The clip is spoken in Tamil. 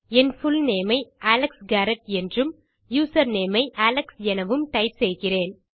என் புல்நேம் ஐ அலெக்ஸ் காரெட் மற்றும் யூசர்நேம் ஐ அலெக்ஸ் என செய்கிறேன்